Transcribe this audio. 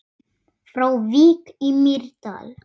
Frá Vík í Mýrdal